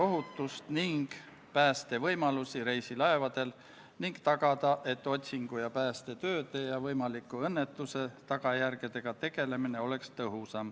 Muudatusettepanekute esitamise tähtaeg oli 9. oktoobril kell 17.15 ja eelnõu kohta ühtegi muudatusettepanekut ei esitatud.